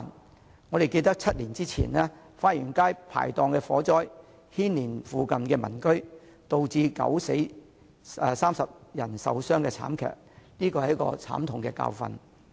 大家應該還記得7年前花園街排檔發生的火災，不但牽連附近民居，而且造成9人死亡、30人受傷的慘劇，這是一個慘痛的教訓。